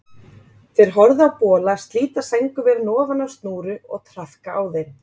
Þau horfðu á bola slíta sængurverin ofan af snúru og traðka á þeim.